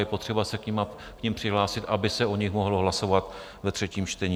Je potřeba se k nim přihlásit, aby se o nich mohlo hlasovat ve třetím čtení.